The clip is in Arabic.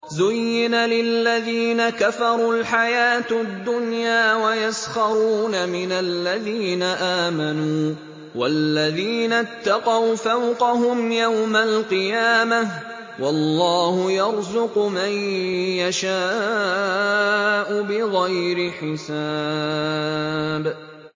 زُيِّنَ لِلَّذِينَ كَفَرُوا الْحَيَاةُ الدُّنْيَا وَيَسْخَرُونَ مِنَ الَّذِينَ آمَنُوا ۘ وَالَّذِينَ اتَّقَوْا فَوْقَهُمْ يَوْمَ الْقِيَامَةِ ۗ وَاللَّهُ يَرْزُقُ مَن يَشَاءُ بِغَيْرِ حِسَابٍ